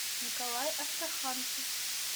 николай астраханцев